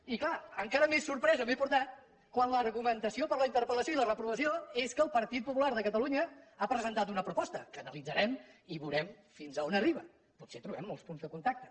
i clar encara més sorpresa m’he portat quan l’argumentació per a la interpel·lació i la reprovació és que el partit popular de catalunya ha presentat una proposta que analitzarem i veurem fins a on arriba potser trobem molts punts de contacte